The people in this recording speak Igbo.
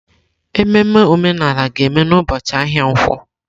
Ememe omenala ga-eme n'ụbọchị ahịa nkwo.